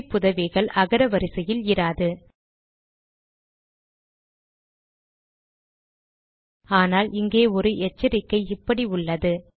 குறிப்புதவிகள் அகர வரிசையில் இராது ஆனால் இங்கே ஒரு எச்சரிக்கை இப்படி உள்ளது